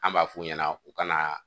An b'a f'u ɲɛna u ka na